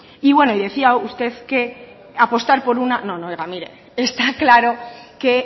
y bueno y decía usted que apostar por una no no oiga mire está claro que